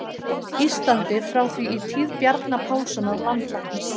Íslandi, frá því í tíð Bjarna Pálssonar landlæknis.